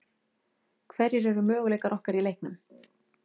Hverjir eru möguleikar okkar í leiknum?